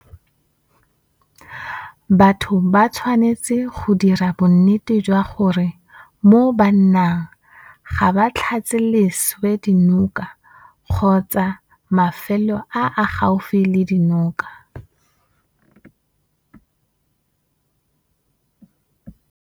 Batho ba tshwanetse go dira bonnete jwa gore mo ba nnang ga ba tlatse leswe dinoka kgotsa mafelo a a gaufi le dinoka.